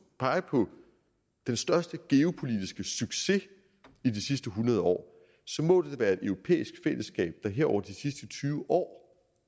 pege på den største geopolitiske succes i de sidste hundrede år må det da være det europæiske fællesskab der her over de sidste tyve år